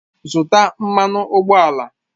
Zụtà mmanụ ụgbọala!